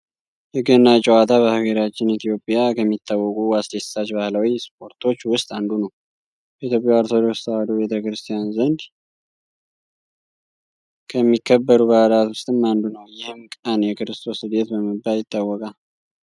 የገና ጨዋታ በሀገራችን ኢትዮጵያ ከሚታወቁ አስደሳች ባህላዊ ስፓርቶች ውስጥ አንዱ ነው። በኢትዮጵያ ኦርቶዶክስ ተዋሕዶ ቤተክርስቲያን ዘንድ ከሚከበሩ በዓላት ውስጥም አንዱ ነው። ይህም ቀን የክርስቶስ ልደት በመባል ይታወቃል።